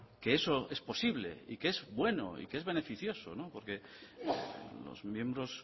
que eso es posible y que es bueno y que es beneficioso porque los miembros